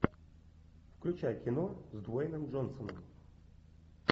включай кино с дуэйном джонсоном